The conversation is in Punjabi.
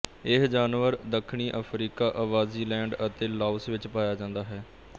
ਇਹ ਜਾਨਵਰ ਦੱਖਣੀ ਅਫਰੀਕਾ ਸਵਾਜ਼ੀਲੈਂਡ ਅਤੇ ਲਾਓਸ ਵਿੱਚ ਪਾਇਆ ਜਾਂਦਾ ਹੈ